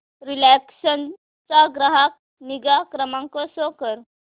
Reliance चा ग्राहक निगा क्रमांक शो कर